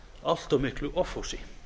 allt of miklu offorsi